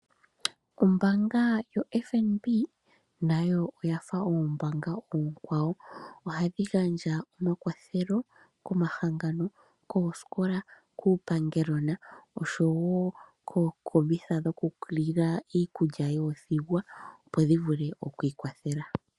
Ombaanga yoFNB nayo oya fa ombaanga oonkwawo. Ohadhi gandja omakwathelo komahangano, kooskola, kuupangelona, osho wo kookombitha dhokulongekidha iikulya yoothigwa, opo dhi vule okwiikwathela.